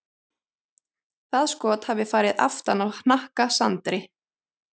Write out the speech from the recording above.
Það skot hafi farið aftan á hnakka Sandri.